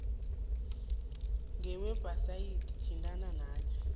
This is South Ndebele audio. ngewebhsayithi thintana nathi